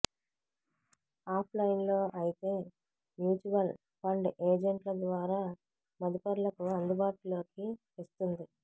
ఆఫ్లైన్లో అయితే mutual fund ఏజెంట్ల ద్వారా మదుపర్లకు అందుబాటులోకి తెస్తుంది